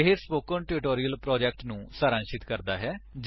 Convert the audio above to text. ਇਹ spoken tutorial project ਨੂੰ ਸਾਰਾਂਸ਼ਿਤ ਕਰਦਾ ਹੈ